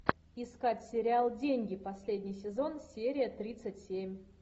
искать сериал деньги последний сезон серия тридцать семь